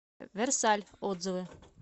версаль отзывы